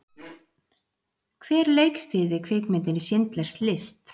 Hver leikstýrði kvikmyndinni Schindlers List?